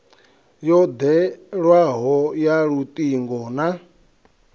yo ḓewleaho ya luṱingo na